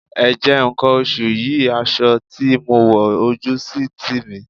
Ẹ̀jẹ̀ nǹkan oṣù yí aṣọ tí mo wọ̀ ojú sì ń tì mí.